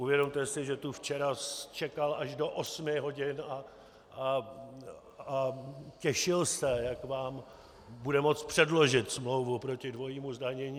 Uvědomte si, že tu včera čekal až do osmi hodin a těšil se, jak vám bude moct předložit smlouvu proti dvojímu zdanění.